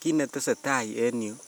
Kit netesetai en yuu